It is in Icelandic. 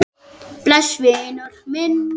Bless vinur minn.